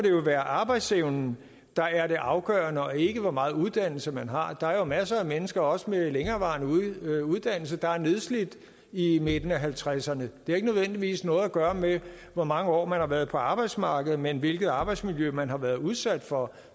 være arbejdsevnen der er det afgørende og ikke hvor meget uddannelse man har der er jo masser af mennesker også med længerevarende uddannelse der er nedslidt i midten af halvtredserne har ikke nødvendigvis noget at gøre med hvor mange år man har været på arbejdsmarkedet men hvilket arbejdsmiljø man har været udsat for